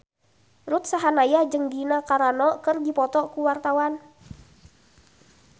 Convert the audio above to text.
Ruth Sahanaya jeung Gina Carano keur dipoto ku wartawan